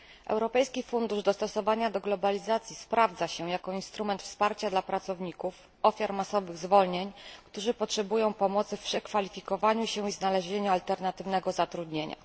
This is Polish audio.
Europejski Fundusz Dostosowania do Globalizacji sprawdza się jako instrument wsparcia dla pracowników, ofiar masowych zwolnień, którzy potrzebują pomocy w przekwalifikowaniu się i znalezieniu alternatywnego zatrudnienia.